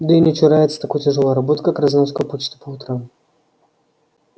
да и не чурается такой тяжёлой работы как разноска почты по утрам